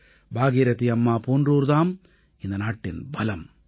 பாகீரதீ அம்மா போன்றோர் தாம் இந்த நாட்டின் பலம்